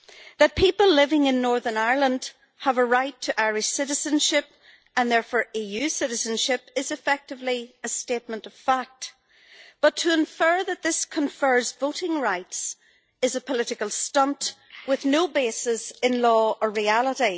That people living in Northern Ireland have a right to Irish citizenship, and therefore EU citizenship, is effectively a statement of fact, but to infer that this confers voting rights is a political stunt with no basis in law or reality.